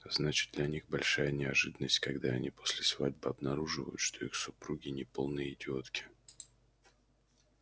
значит для них большая неожиданность когда они после свадьбы обнаруживают что их супруги не полные идиотки